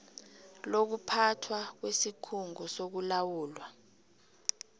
lokuphathwa kwesikhungo sokulawulwa